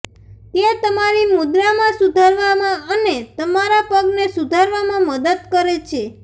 તે તમારી મુદ્રામાં સુધારવામાં અને તમારા પગને સુધારવામાં મદદ કરે છે